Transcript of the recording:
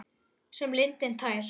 Sem lindin tær.